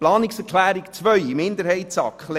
Zu Planungserklärung 2 der SAK-Minderheit: